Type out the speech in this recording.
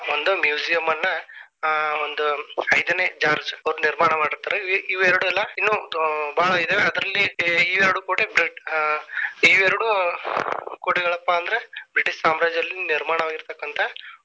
ಒಂದು museum ಅನ್ನಾ ಆ ಒಂದು ಐದನೇ George ಅವರು ನಿರ್ಮಾಣ ಮಾಡ್ತಾರೆ ಇವ ಎರಡಲ್ಲಾ ಇನ್ನು ಬಾಳ ಇದಾವೆ ಅದ್ರಲ್ಲಿ ಇವೆರಡು ಕೋಟೆ ಇವೆರಡು ಕೋಟೆಗಳಪ್ಪಾ ಅಂದ್ರ ಬ್ರಿಟಿಷ ಸಾಮ್ರಾಜ್ಯದಲ್ಲಿ ನಿರ್ಮಾಣವಾಗಿತಕ್ಕಂತ.